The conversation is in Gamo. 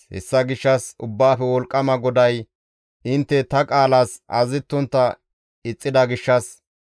Hessa gishshas Ubbaafe Wolqqama GODAY, «Intte ta qaalas azazettontta ixxida gishshas,